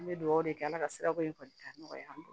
An bɛ dugawu kɛ ala ka sirako in kɔni ka nɔgɔya an bolo